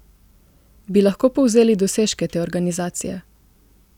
Bi lahko povzeli dosežke te organizacije?